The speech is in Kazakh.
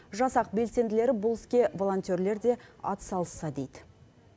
жасақ белсенділері бұл іске волонтерлер де атсалысса дейді